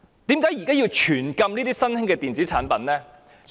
為何現時卻要全面禁止新興的電子煙產品？